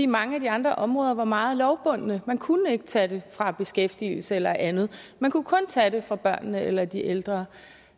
mange af de andre områder var meget lovbundne man kunne ikke tage det fra beskæftigelse eller andet man kunne kun tage det fra børnene eller de ældre